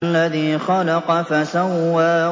الَّذِي خَلَقَ فَسَوَّىٰ